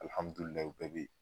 Alihamdulilahi u bɛɛ be ye